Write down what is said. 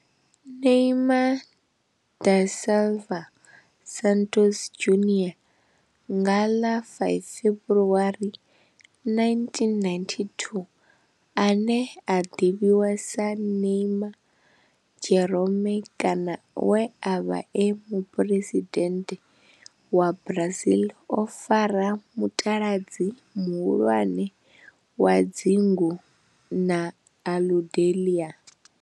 Neymar da Silva Santos Junior, nga ḽa 5 February 1992, ane a ḓivhiwa sa Ne'ymar' Jeromme kana we a vha e muphuresidennde wa Brazil o fara mutaladzi muhulwane wa dzingu na Aludalelia.